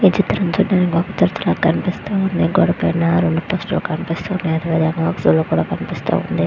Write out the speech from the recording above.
ఈ చిత్రం చూడడానికి కనిపిస్తూ ఉంది. గోడ పైన రెండు పిక్చర్ లు కనిపిస్తున్నది. అదే విధంగా ఒక సూల కూడా కనిపిస్తున్నది.